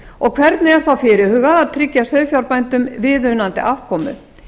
hvernig er þá fyrirhugað að tryggja sauðfjárbændum viðunandi afkomu